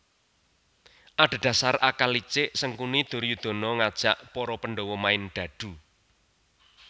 Adhedhasar akal licik Sangkuni Duryodana ngajak para Pandawa main dadu